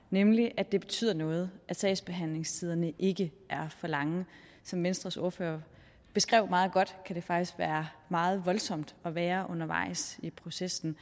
nemlig at det betyder noget at sagsbehandlingstiderne ikke er for lange som venstres ordfører beskrev meget godt kan det faktisk være meget voldsomt at være undervejs i processen